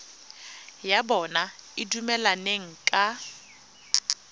ya bona e dumelaneng ka